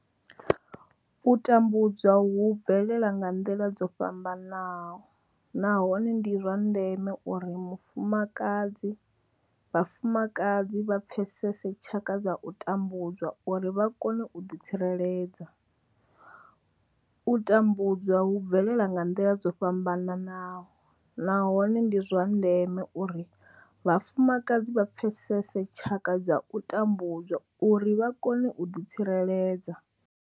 U tambudzwa hu bvelela nga nḓila dzo fhambanaho nahone ndi zwa ndeme uri mufumakadzi vhafumakadzi vha pfesese tshaka dza u tambudzwa uri vha kone u ḓi tsireledza. U tambudzwa hu bvelela nga nḓila dzo fhambanaho nahone ndi zwa ndeme uri vhafumakadzi vha pfesese tshaka dza u tambudzwa uri vha kone u ḓi tsireledza.